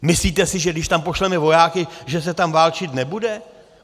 Myslíte si, že když tam pošleme vojáky, že se tam válčit nebude?